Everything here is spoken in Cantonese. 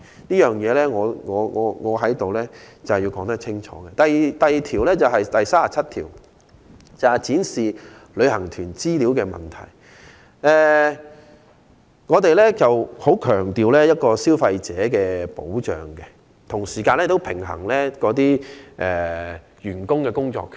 此外，關於《條例草案》第37條"展示旅行團的資料"的問題，我們強調既要保障消費者，同時亦要平衡員工的工作權。